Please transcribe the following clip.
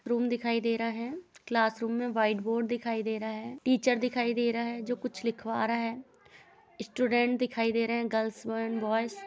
Room दिखाई दे रहा है। क्लासरूम में व्हाइट बोर्ड दिखाई दे रहा है। टीचर दिखाई दे रहा है जो कुछ लिखवा रहा है। स्टूडेंट्स दिखाई दे रहे है गर्ल्स एण्ड बॉय्ज़ ।